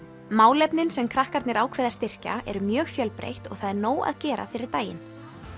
málefnin sem krakkarnir ákveða að styrkja eru mjög fjölbreytt og það er nóg að gera fyrir daginn